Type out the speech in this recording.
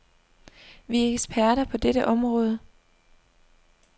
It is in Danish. Vi er eksperter på dette område.